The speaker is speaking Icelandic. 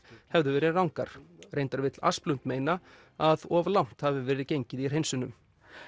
hefðu verið rangar reyndar vill meina að of langt hafi verið gengið í hreinsunum